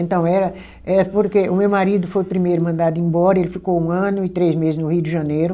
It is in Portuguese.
Então era era porque o meu marido foi o primeiro mandado embora, ele ficou um ano e três mese no Rio de Janeiro.